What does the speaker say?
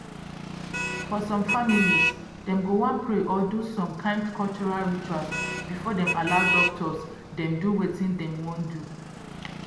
for some families dem go wan pray or do some kind cultural rituals before dem allow doctors dem do wetin dem wan do.